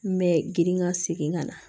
N bɛ girin ka segin ka na